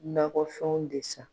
Nakɔfɛnw de san.